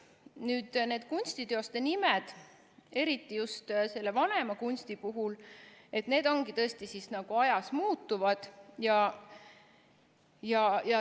Nüüd, need kunstiteoste nimed, eriti just selle vanema kunsti puhul, ongi ajas muutuvad.